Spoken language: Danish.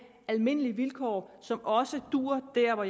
almindelige vilkår som også duer der hvor